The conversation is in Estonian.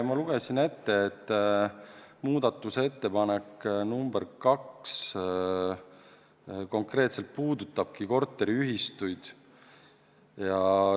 Ma lugesin ette, et muudatusettepanek nr 2 konkreetselt puudutabki korteriühistuid.